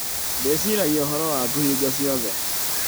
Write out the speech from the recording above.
Ndĩciragia ũhoro waku hingo ciothe.